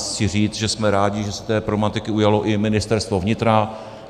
Chci říct, že jsme rádi, že se té problematiky ujalo i Ministerstvo vnitra.